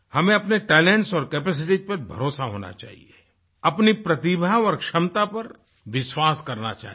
हमें अपने टैलेंट्स और कैपेसिटीज पर भरोसा होना चाहिए अपनी प्रतिभा और क्षमता पर विश्वास करना चाहिए